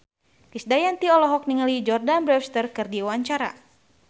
Krisdayanti olohok ningali Jordana Brewster keur diwawancara